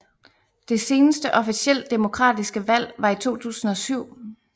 Det seneste officielt demokratiske valg var i 2007